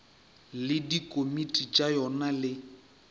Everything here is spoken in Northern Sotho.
le dikomiti tša yona le